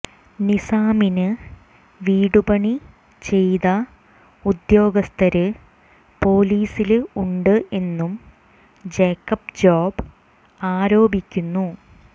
നിസാമിന് വിടുപണി ചെയ്ത ഉദ്യോഗസ്ഥര് പോലീസില് ഉണ്ട് എന്നും ജേക്കബ് ജോബ് ആരോപിക്കുന്നു